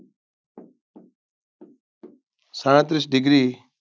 સાડત્રીશ Degree